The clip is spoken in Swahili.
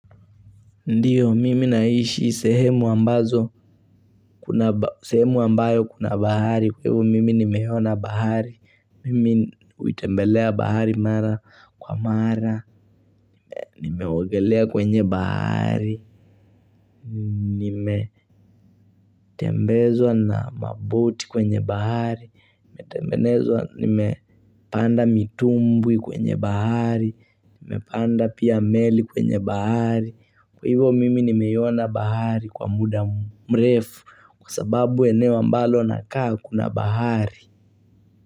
Ndiyo, mimi naishi sehemu ambazo, sehemu ambayo kuna bahari, kwa hivyo mimi nimeona bahari, mimi huitembelea bahari mara kwa mara, nimeogelea kwenye bahari, nimetembezwa na maboat kwenye bahari, nimetanda mitumbwi kwenye bahari, nimepanda pia meli kwenye bahari. Kwa hivyo mimi nimeiona bahari kwa muda mrefu Kwa sababu eneo ambalo nakaa kuna bahari.